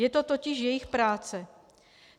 Je to totiž jejich práce.